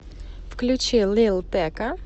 включи лил текка